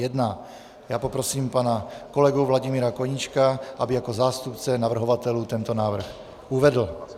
Já poprosím pana kolegu Vladimíra Koníčka, aby jako zástupce navrhovatelů tento návrh uvedl.